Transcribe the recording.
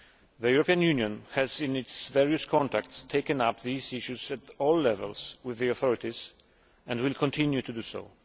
The European Union has, in its various contacts, taken up these issues at all levels with the authorities and will continue to do so.